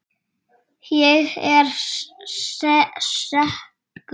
Ég er sekur.